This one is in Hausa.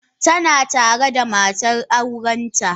Tana tare da matar aurenta.